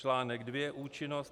Čl. II Účinnost.